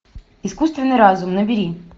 искусственный разум набери